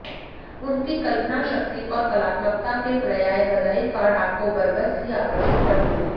उनकी कल्पनाशक्ति और कलात्मकता के पर्याय बधाई कार्ड आपको बरबस ही आकर्षित कर लेंगे